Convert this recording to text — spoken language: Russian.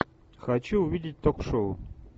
хочу увидеть ток шоу